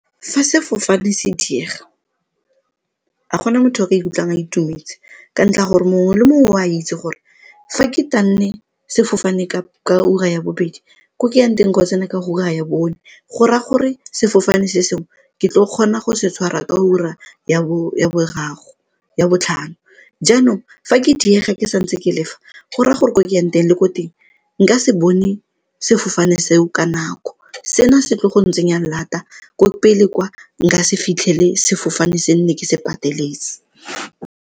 Fa sefofane se diega ga gona motho o ka ikutlwang a itumetse ka ntlha ya gore mongwe le mongwe o a itse gore fa ke sefofane ka ura ya bobedi ko ke yang teng ko tsena ka ura ya bone gora gore sefofane se sengwe ke tlo kgona go se tshwara ka ura ya boraro, ya botlhano. Jaanong fa ke diega ke santse ke lefa gore a gore ko ke yang teng le ko teng nka se bone sefofane seo ka nako se na se tlile go ntsenya lata ko pele kwa nka se fitlhele sefofane se nne ke se pateletse.